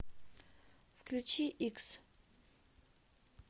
включи икс